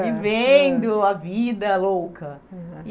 Vivendo a vida louca. Uhum.